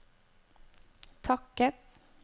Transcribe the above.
takket